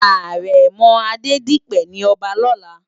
Arèmò Adedipe ni òbá lòlá